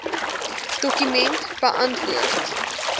dokument beantwoord